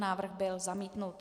Návrh byl zamítnut.